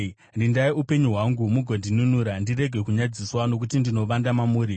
Rindai upenyu hwangu mugondinunura; ndirege kunyadziswa, nokuti ndinovanda mamuri.